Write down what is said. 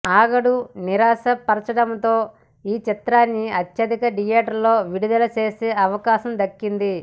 ఆగడు నిరాశ పరచడంతో ఈ చిత్రాన్ని అత్యధిక థియేటర్లలో విడుదల చేసే అవకాశం దక్కింది